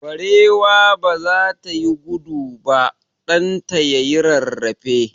Barewa baza ta yi gudu ba, ɗan ta yayi rarrafe.